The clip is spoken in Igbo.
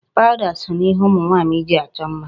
Powder so na ihe ụmụ nwaanyị ji achọ mma.